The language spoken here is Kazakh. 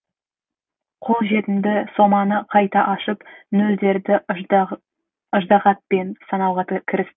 қолжетімді соманы қайта ашып нөлдерді ыждағатпен санауға кірісті